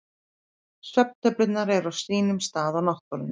Svefntöflurnar eru á sínum stað í náttborðinu.